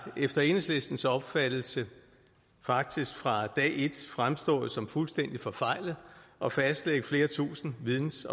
efter enhedslistens opfattelse faktisk fra dag et fremstået som fuldstændig forfejlet at fastlægge flere tusinde videns